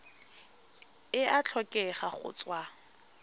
e a tlhokega go tswa